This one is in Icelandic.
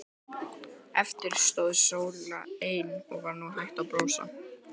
Eftir stóð Sóla ein og var nú hætt að brosa.